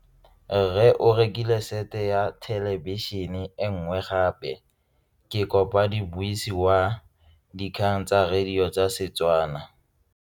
Rre o rekile sete ya thelebišene e nngwe gape. Ke kopane mmuisi w dikgang tsa radio tsa Setswana.